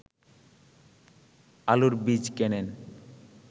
আলুর বীজ কেনেন